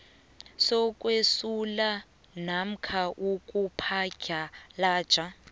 sokwesula namkha ukuphadlhalaja